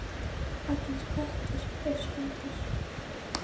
Allir kettir eru spendýr